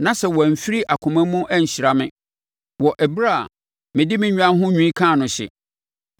na sɛ wamfiri akoma mu anhyira me wɔ ɛberɛ a mede me nnwan ho nwi kaa no hye,